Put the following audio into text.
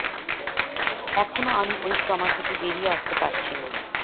এখনও আমি ওই ট্রমা থেকে বেরিয়ে আসতে পারছি না